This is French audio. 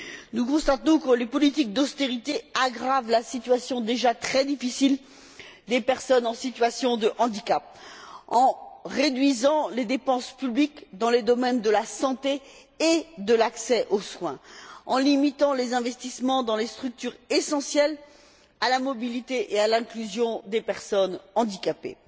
Nous constatons que les politiques d'austérité aggravent la situation déjà très difficile des personnes en situation de handicap en réduisant les dépenses publiques dans les domaines de la santé et de l'accès aux soins, en limitant les investissements dans les structures essentielles à la mobilité et à l'inclusion des personnes handicapées.